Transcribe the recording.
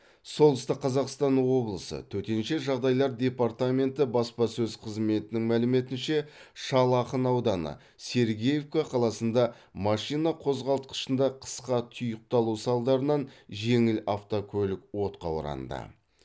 солтүстік қазақстан облысы төтенше жағдайлар департаменті баспасөз қызметінің мәліметінше шал ақын ауданы сергеевка қаласында машина қозғалтқышында қысқа тұйықталу салдарынан жеңіл автокөлік отқа оранды